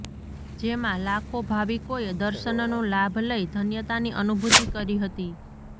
જેમાં લાખો ભાવિકોએ દર્શનનો લાભ લઇ ધન્યતાની અનુભૂતિ કરી હતી